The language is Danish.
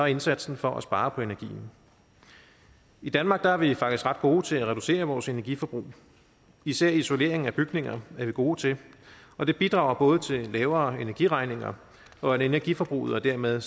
indsatsen for at spare på energien i danmark er vi faktisk ret gode til at reducere vores energiforbrug især isolering af bygninger er vi gode til og det bidrager både til lavere energiregninger og at energiforbruget og dermed